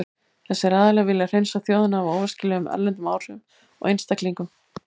Þessir aðilar vilja hreinsa þjóðina af óæskilegum erlendum áhrifum og einstaklingum.